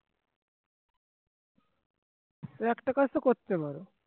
একটা কাজ তো করতে পারো